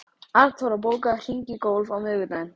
Arnþóra, bókaðu hring í golf á miðvikudaginn.